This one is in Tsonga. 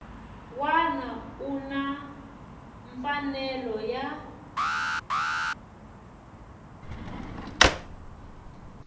wana u na mfanelo ya